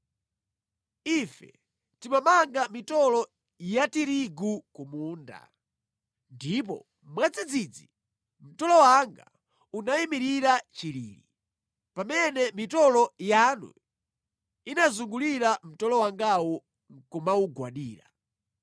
Ife timamanga mitolo ya tirigu ku munda ndipo mwadzidzidzi mtolo wanga unayimirira chilili, pamene mitolo yanu inazungulira mtolo wangawo nʼkumawugwadira.”